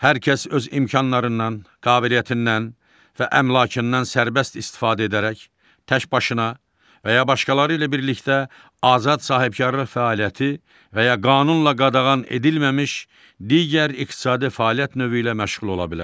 Hər kəs öz imkanlarından, qabiliyyətindən və əmlakından sərbəst istifadə edərək təkbaşına və ya başqaları ilə birlikdə azad sahibkarlıq fəaliyyəti və ya qanunla qadağan edilməmiş digər iqtisadi fəaliyyət növü ilə məşğul ola bilər.